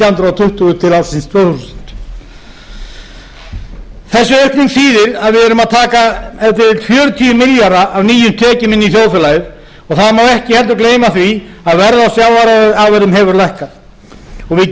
hundruð tuttugu til ársins tvö þúsund þessi aukning þýðir að við erum að taka ef til vill fjörutíu milljarða af nýjum tekjum inn í þjóðfélagið og það má ekki heldur gleyma því að verð á sjávarafurðum hefur lækkað og við getum ekki bætt